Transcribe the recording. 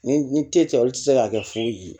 Ni ni te cɛ olu ti se ka kɛ foyi ye